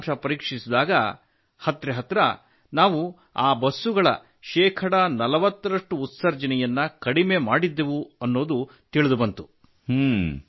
ಅದರ ಫಲಿತಾಂಶ ಪರೀಕ್ಷಿಸಿದಾಗ ಹತ್ತಿರ ಹತ್ತಿರ ನಾವು ಆ ಬಸ್ಸುಗಳ ಶೇಕಡ 40ರಷ್ಟು ಉತ್ಸರ್ಜನೆಯನ್ನು ಕಡಿಮೆ ಮಾಡಿದ್ದೆವು ಎನ್ನುವುದು ತಿಳಿದುಬಂತು